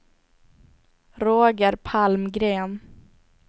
Roger Palmgren